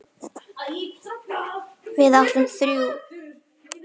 Við áttum þrjú.